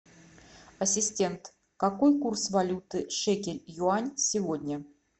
ассистент какой курс валюты шекель юань сегодня